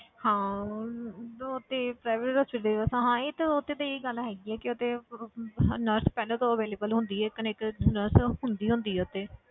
ਹਾਂ ਹਮ ਉਹ ਤੇ private hospital 'ਚ ਅੱਛਾ ਹਾਂ ਇਹ ਤੇ, ਉਹ ਤੇ ਤੇਰੀ ਇਹ ਗੱਲ ਹੈਗੀ ਹੈ ਕਿ ਉੱਥੇ nurse ਪਹਿਲਾਂ ਤੋਂ available ਹੁੰਦੀ ਹੈ ਕੋਈ ਨਾ ਕੋਈ nurse ਹੁੰਦੀ ਹੀ ਹੁੰਦੀ ਹੈ ਉੱਥੇ